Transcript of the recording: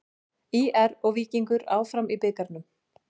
ÍR og Víkingur áfram í bikarnum